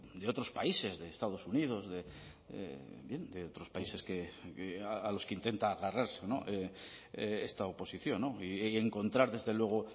de otros países de estados unidos de otros países a los que intenta agarrarse esta oposición y encontrar desde luego